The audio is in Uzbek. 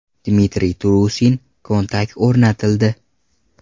Dmitriy Turusin: kontakt o‘rnatildi!.